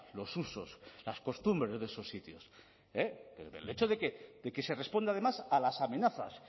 los usos las costumbres de esos sitios el hecho de que se responde además a las amenazas